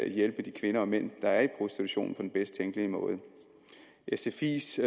hjælpe de kvinder og mænd der er i prostitution på den bedst tænkelige måde sfis